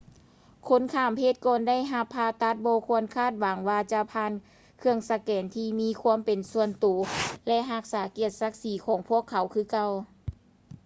ຄົນຂ້າມເພດກ່ອນໄດ້ຮັບຜ່າຕັດບໍ່ຄວນຄາດຫວັງວ່າຈະຜ່ານເຄື່ອງສະແກນທີ່ມີຄວາມເປັນສ່ວນຕົວ ແລະ ຮັກສາກຽດສັກສີຂອງພວກເຂົາຄືເກົ່າ